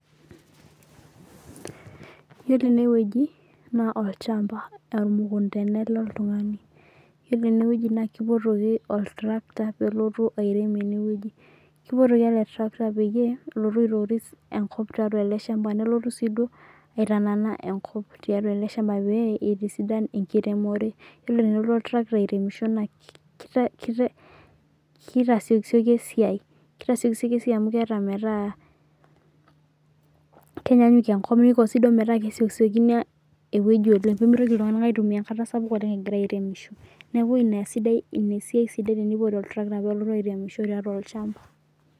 Yiolo enewueji na olchamba na ormukunda elelotungani iyolo enewueji na kipuotoki oltarakita pelotu airem enewueji ipotuoki ele tarakita pelotu aitoris enkop tiatua eleshamba, nelotu siduo aitanana eleshamba tiatua enkop tiatua eleshamba peitisidan enkiremore ore pelotu oltarakita airemisho na kitasiokisioki esiai amu kear ometaa kenyanyuk enko niko si duo metaa pemitoki ltunganak aitumia enkata sapuk egira aremisho niekau ine siai sidai tenipoti oltrakta pelotu aremisho tolchamba.